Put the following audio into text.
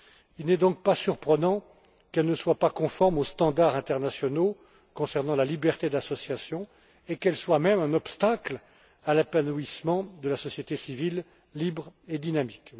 Il n'est donc pas surprenant qu'elle ne soit pas conforme aux standards internationaux concernant la liberté d'association et qu'elle soit même un obstacle à l'épanouissement de la société civile libre et dynamique.